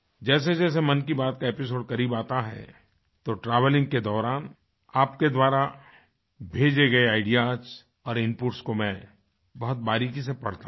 जैसेजैसे मन की बात का एपिसोड करीब आता है तो ट्रैवेलिंग के दौरान आपके द्वारा भेजे गए आईडीईएएस और इनपुट्स को मैं बहुत बारीकी से पढ़ता हूँ